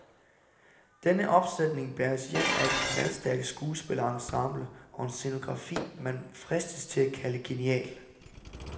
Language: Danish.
Denne opsætning bæres hjem af et knaldstærkt skuespillerensemble og en scenografi, man fristes til at kalde genial.